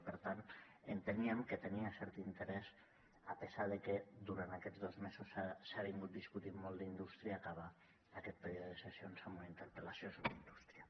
i per tant enteníem que tenia cert interès a pesar de que durant aquests dos mesos s’ha discutit molt d’indústria acabar aquest període de sessions amb una interpel·lació sobre indústria